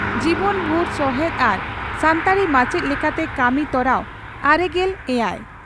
ᱡᱤᱵᱚᱱ ᱵᱷᱩᱨ ᱥᱚᱦᱮᱛ ᱟᱨ ᱥᱟᱱᱛᱟᱲᱤ ᱢᱟᱪᱮᱛ ᱞᱮᱠᱟᱛᱮ ᱠᱟᱹᱢᱤ ᱛᱚᱨᱟᱣ ᱼᱟᱨᱮᱜᱮᱞ ᱮᱭᱟᱭ